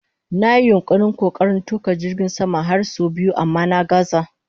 Na yi yunkurin/kokarin tuka jirgin sama har sau biyu amma na gazza